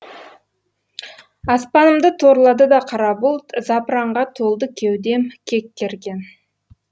аспанымды торлады да қара бұлт запыранға толды кеудем кек керген